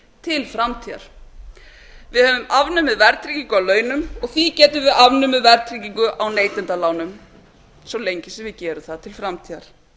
til framtíðar við höfum afnumið verðtryggingu á launum og því getum við afnumið verðtryggingu á neytendalánum svo lengi sem við gerum það til framtíðar